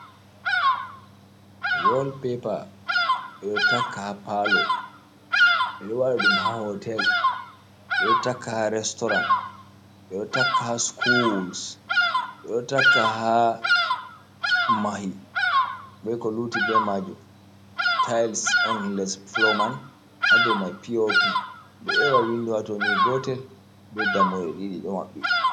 Wol pepa ɓeɗo taka ha paalo, ɓeɗo waɗa ɗum ha hotel, ɓe ɗo takka ha restorant, ɓeɗo takka ha skuls, ɓeɗo takka hamahi be ko luti be majum, tyls on les fulo man hado mai piopi ɗo ewa windo hato ni gotel be dammuɗe ɗiɗi ɗo maɓɓi.